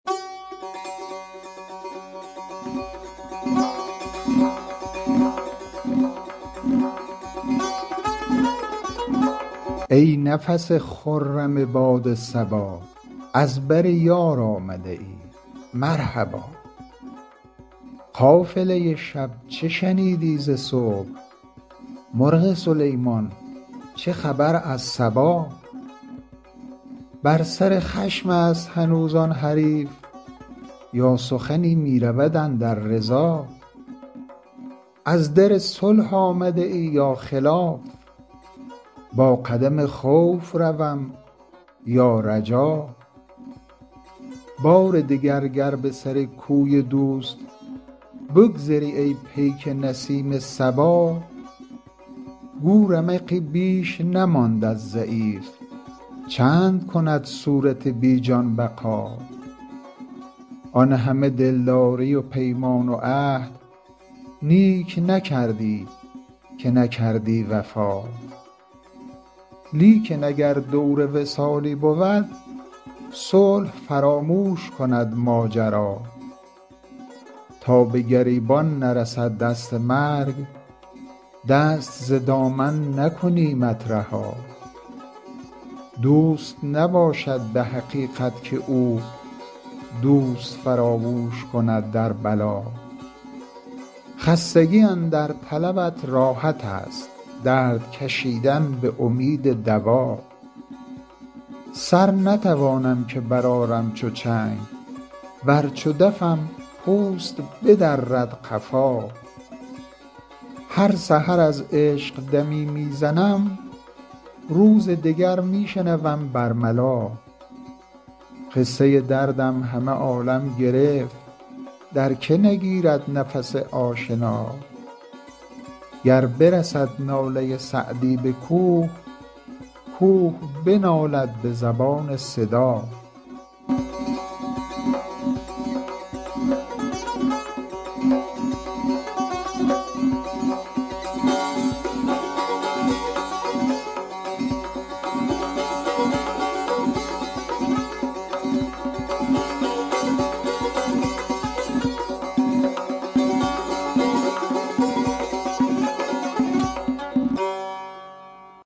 ای نفس خرم باد صبا از بر یار آمده ای مرحبا قافله شب چه شنیدی ز صبح مرغ سلیمان چه خبر از سبا بر سر خشم است هنوز آن حریف یا سخنی می رود اندر رضا از در صلح آمده ای یا خلاف با قدم خوف روم یا رجا بار دگر گر به سر کوی دوست بگذری ای پیک نسیم صبا گو رمقی بیش نماند از ضعیف چند کند صورت بی جان بقا آن همه دلداری و پیمان و عهد نیک نکردی که نکردی وفا لیکن اگر دور وصالی بود صلح فراموش کند ماجرا تا به گریبان نرسد دست مرگ دست ز دامن نکنیمت رها دوست نباشد به حقیقت که او دوست فراموش کند در بلا خستگی اندر طلبت راحت است درد کشیدن به امید دوا سر نتوانم که برآرم چو چنگ ور چو دفم پوست بدرد قفا هر سحر از عشق دمی می زنم روز دگر می شنوم بر ملا قصه دردم همه عالم گرفت در که نگیرد نفس آشنا گر برسد ناله سعدی به کوه کوه بنالد به زبان صدا